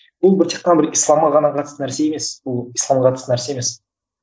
бұл бір тек қана бір исламға ғана қатысты нәрсе емес бұл исламға қатысты нәрсе емес